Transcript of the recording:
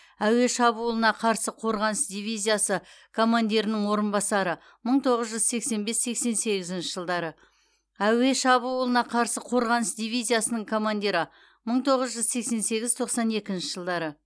әуе шабуылына қарсы қорғаныс дивизиясы командирінің орынбасары мың тоғыз жүз сексен бес сексен сегізінші жылдары әуе шабуылына қарсы қорғаныс дивизиясының командирі мың тоғыз жүз сексен сегіз тоқсан екінші жылдары